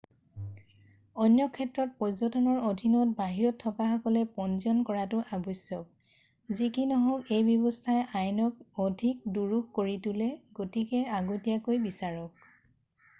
অন্য ক্ষেত্ৰত পৰ্যটনৰ অধীনত বাহিৰত থকাসকলে পঞ্জীয়ন কৰাটো আৱ্শ্যক যি কি নহওক এই ব্যৱস্থাই আইনক অধিক দুৰূহ কৰি তোলে গতিকে আগতিয়াকৈ বিচাৰক